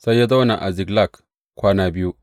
Sai ya zauna a Ziklag kwana biyu.